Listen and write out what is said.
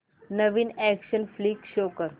नवीन action flick show कर